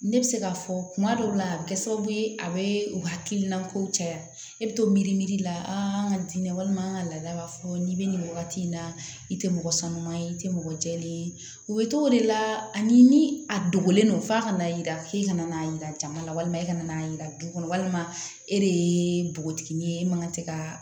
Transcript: Ne bɛ se k'a fɔ kuma dɔw la a bɛ kɛ sababu ye a bɛ u hakilina kow caya e bɛ to mirimiri la an ka walima an ka laada b'a fɔ n'i bɛ nin wagati in na i tɛ mɔgɔ sanuma ye i tɛ mɔgɔ jɛlen ye u bɛ cogo de la ani ni a dogolen don f'a kana yira k'i kana n'a yira jama la walima e kana n'a yira du kɔnɔ walima e de ye npogotiginin ye e man kan tɛ ka